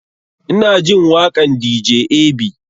Ina jin waƙan dj ab